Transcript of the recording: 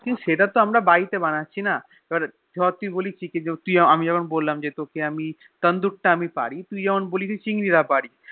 কিন্তু সেটা তো বাড়িতে বানাচ্ছিনা ধরে তুই বলি আমি জেরোম বললাম যে আমি Tandoor তা আমি পারি তুই জেরোম আমায় বললো চিংড়ি তা পারি